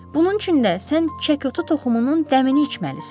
Bunun üçün də sən çəkotu toxumunun dəmini içməlisən.